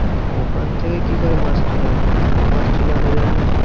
ওখান থেকে কি করে মাছ তুলে আনবো? ওখানে তো মাছ তুলে আনা যায় না।